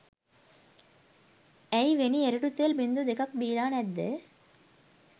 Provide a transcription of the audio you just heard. ඇයි වෙනි එරඬු තෙල් බිංදු දෙකක් බීලා නැද්ද?